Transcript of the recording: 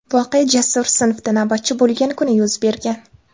Voqea Jasur sinfda navbatchi bo‘lgan kuni yuz bergan.